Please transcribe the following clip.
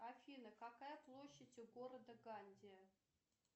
афина какая площадь у города гандия